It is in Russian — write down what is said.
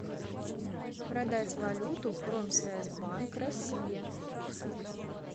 продать валюту промсвязьбанк россия